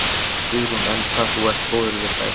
Guðrún: Enn hvað þú ert góður við þær?